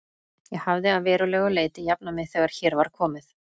Ég hafði að verulegu leyti jafnað mig þegar hér var komið.